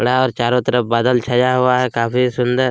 बड़ा और चारों तरफ बादल छाया हुआ है काफी सुन्दर--